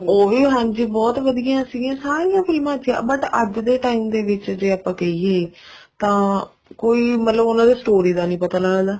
ਉਹ ਵੀ ਹਾਂਜੀ ਬਹੁਤ ਵਧੀਆ ਸੀਗੀਆਂ ਸਾਰੀਆਂ ਫ਼ਿਲਮਾ ਚ ਪਰ ਅੱਜ ਦੇ time ਦੇ ਵਿੱਚ ਜੇ ਆਪਾਂ ਕਹਿਏ ਤਾਂ ਕੋਈ ਮਤਲਬ ਉਹਨਾ ਦੇ story ਦਾ ਨੀ ਪਤਾ ਲੱਗਦਾ